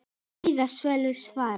Kveðja Salvör Svava.